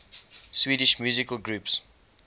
swedish musical groups